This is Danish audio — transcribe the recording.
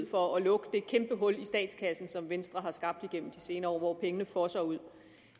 for at lukke det kæmpe hul i statskassen som venstre har skabt gennem de senere år og hvor pengene fosser ud